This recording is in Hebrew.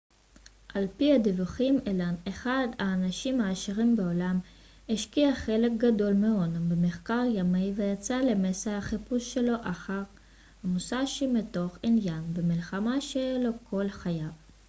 על פי הדיווחים אלן אחד האנשים העשירים בעולם השקיע חלק גדול מהונו במחקר ימי ויצא למסע החיפוש שלו אחר המוסאשי מתוך עניין במלחמה שהיה לו כל חייו